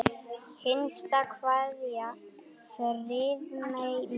HINSTA KVEÐJA Friðmey mín.